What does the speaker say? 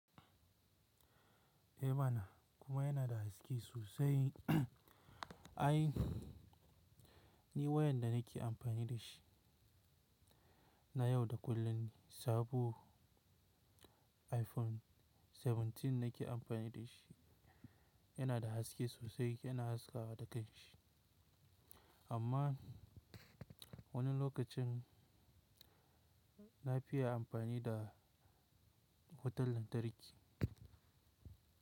Eh mana kuma yana da haske sosai. Ai ni wayan da nake amfani da shi na yau da kullum ne sabo iPhone 17 nake amfani da shi. Yana da haske sosai, yana haska haskawa da kan shi. Amma wani lokacin na fiya amfani da wutar lantarki.